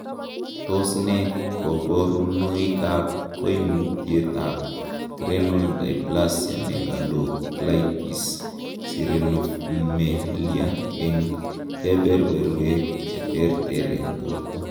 Tos nee koburonoikab koimutietab Renal dysplasia megalocystis sirenomelia en keberberwek cheterter en borto?